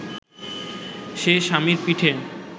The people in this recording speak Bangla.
সে স্বামীর পিঠে